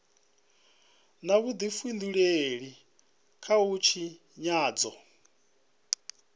na vhudifhinduleli kha u tshinyadzwa